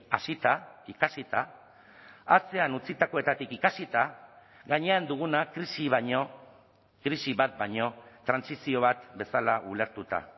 hasita ikasita atzean utzitakoetatik ikasita gainean duguna krisi baino krisi bat baino trantsizio bat bezala ulertuta